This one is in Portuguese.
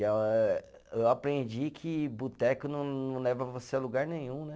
Eu aprendi que boteco não leva você a lugar nenhum, né.